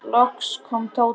Kælið vel í ísskáp.